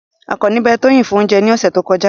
Akanni be Toyin fun ounje ni ose to koja